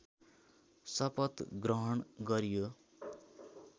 शपथ ग्रहण गरियो